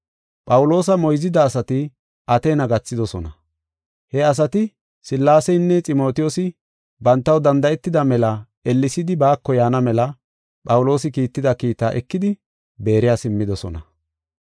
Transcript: Phawuloosa moyzida asati Ateena gathidosona. He asati Sillaaseynne Ximotiyoosi bantaw danda7etida mela ellesidi baako yaana mela Phawuloosi kiitida kiita ekidi Beeriya simmidosona.